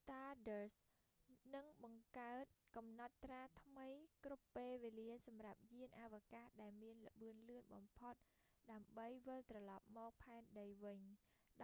stardust នឹងបង្កើតកំណត់ត្រាថ្មីគ្រប់ពេលវេលាសម្រាប់យានអវកាសដែលមានល្បឿនលឿនបំផុតដើម្បីវិលត្រឡប់មកផែនដីវិញ